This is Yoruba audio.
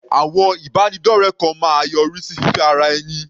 Àwọn ìbánidọ́rẹ kan máa yọrí sí fífẹ́ ara ẹni.